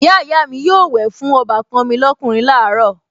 Ìyáàyá mi yóò wẹ̀ fún ọbàkan mi lọ́kùnrin láàárọ̀